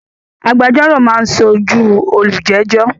Agbẹjọ́rò máa ń sójúu olùjẹ́jọ́